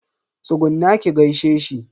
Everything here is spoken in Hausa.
Tsugunna ki gaishe shi.